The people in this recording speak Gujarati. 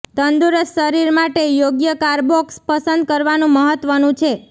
તંદુરસ્ત શરીર માટે યોગ્ય કાર્બોક્સ પસંદ કરવાનું મહત્વનું છે